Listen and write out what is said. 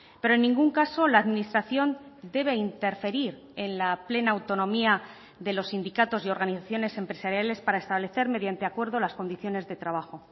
pero en ningún caso la administración debe interferir en la plena autonomía de los sindicatos y organizaciones empresariales para establecer mediante acuerdo las condiciones de trabajo